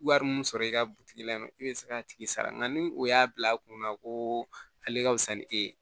Wari mun sɔrɔ i ka butigi la in'o i bɛ se k'a tigi sara nka ni o y'a bila a kunna ko ale ka wusa ni e ye